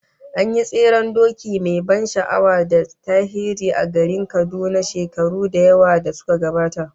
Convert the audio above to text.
An yi tseren doki mai ban sha'awa da tarihi a garin Kaduna shekaru da yawa da suka gabata